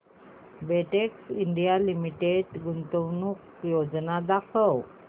Betex India limited गुंतवणूक योजना दाखव